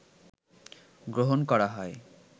গ্রহণ করা হয়